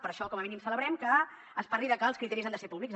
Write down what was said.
per això com a mínim celebrem que es parli de que els criteris han de ser públics